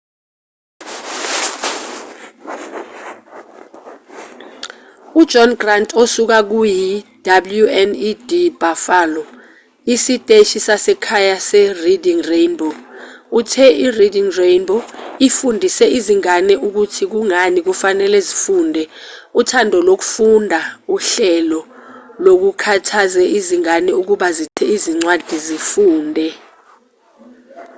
ujohn grant osuka kuyi-wned buffalo isiteshi sasekhaya sereading rainbow uthe ireading rainbow ifundise izingane ukuthi kungani kufanele zifunde, uthando lokufunda — [uhlelo] lukhuthaze izingane ukuba zithathe incwadi zifunde.